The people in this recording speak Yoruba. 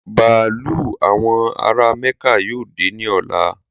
Bàálù àwọn ará Mẹ́kà yóò dé ní ọ̀la